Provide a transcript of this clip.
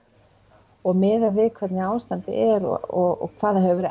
og miðað við hvernig ástandið er og hvað það hefur verið